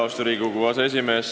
Austatud Riigikogu aseesimees!